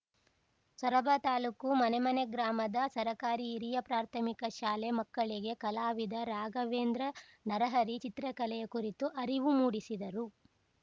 ಸೊರಬ ತಾಲೂಕು ಮನೆಮನೆ ಗ್ರಾಮದ ಸರಕಾರಿಹಿರಿಯಾಪ್ರಾಥಮಿಕಶಾಲೆ ಮಕ್ಕಳಿಗೆ ಕಲಾವಿದ ರಾಘವೇಂದ್ರ ನರಹರಿ ಚಿತ್ರಕಲೆಯ ಕುರಿತು ಅರಿವು ಮೂಡಿಸಿದರು